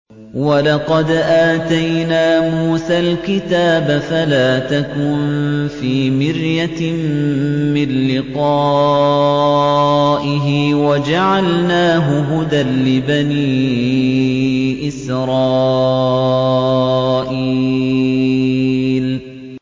وَلَقَدْ آتَيْنَا مُوسَى الْكِتَابَ فَلَا تَكُن فِي مِرْيَةٍ مِّن لِّقَائِهِ ۖ وَجَعَلْنَاهُ هُدًى لِّبَنِي إِسْرَائِيلَ